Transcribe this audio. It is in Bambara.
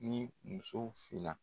Ni musow fena.